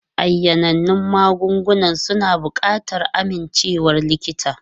Ayanannun magungunan suna buƙatar amincewar likita.